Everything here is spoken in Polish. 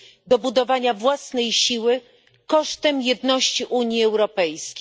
do budowania własnej siły kosztem jedności Unii Europejskiej.